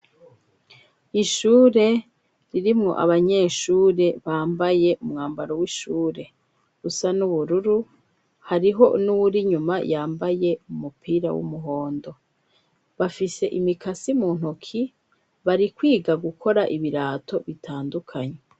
Ishure ririmwo abanyeshure bambaye umwambaro w'ishure usa n'ubururu, hariho n'uwuri inyuma yambaye umupira w'umuhondo, bafise imikasi mu ntoki, bari kwiga gukora ibirato bitandukanye.